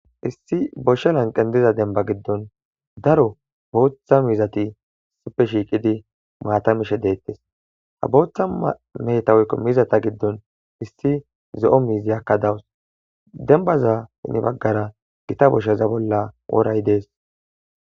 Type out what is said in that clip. Issi bosha laqen diza demba giddon daro bootha mizat ubbay shiqid maata mishe detes, ha bootha meheta woyko mizata giddon issi zo'o miziyaka dawusi. Dembaza ya bagara gitta boshaza bolla woray Des.